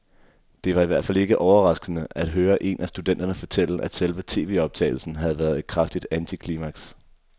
Det var i hvert fald ikke overraskende at høre en af studenterne fortælle, at selve tvoptagelsen havde været et kraftigt antiklimaks.